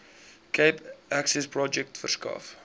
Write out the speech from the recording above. cape accessprojek verskaf